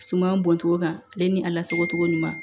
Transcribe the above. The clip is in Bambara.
Suman bɔn togo kan ale ni a lasagocogo ɲuman